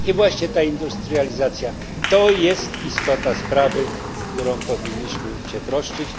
I właśnie ta industrializacja jest istotą sprawy, o którą powinniśmy się troszczyć.